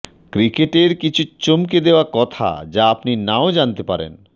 ক্রিকেটের কিছু চমকে দেওয়া কথা যা আপনি নাও জানতে পারেন